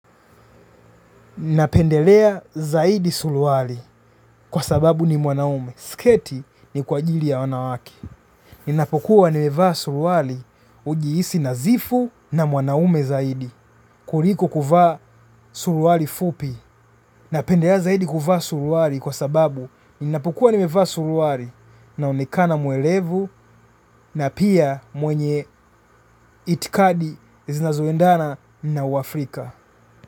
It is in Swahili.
Napendelea zaidi suruali kwa sababu ni mwanaume. Sketi ni kwa ajili ya wanawake. Ninapokuwa nimevaa suruali hujihisi nadhifu na mwanaume zaidi. Kuliko kuvaa suruali fupi. Napendelea zaidi kuvaa suruali kwa sababu ninapokuwa nimevaa suruali naonekana mwerevu na pia mwenye itikadi zinazoendana na waafrika.